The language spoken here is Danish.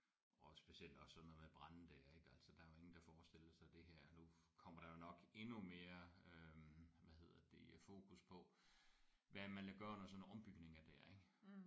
Og specielt også sådan noget med brande der ik altså der er jo ingen der forestiller sig det her nu kommer der jo nok endnu mere øh hvad hedder det fokus på hvad man gør under sådan nogle ombygninger der ik